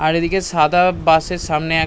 আর এই দিকে সাদা-আ বাসের সামনে এক--